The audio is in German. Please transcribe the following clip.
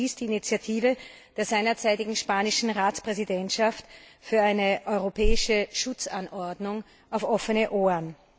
stieß die Initiative der seinerzeitigen spanischen Ratspräsidentschaft für eine Europäische Schutzanordnung auf offene Ohren.